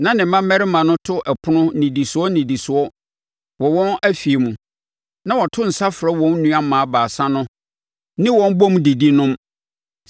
Na ne mmammarima no to ɛpono nnidisoɔ nnidisoɔ wɔ wɔn afie mu, na wɔto nsa frɛ wɔn nnuammaa baasa no ne wɔn bɔ mu didi, nom.